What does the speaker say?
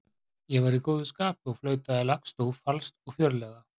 Ég var í góðu skapi og flautaði lagstúf falskt og fjörlega.